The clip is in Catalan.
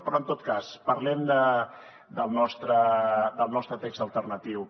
però en tot cas parlem del nostre text alternatiu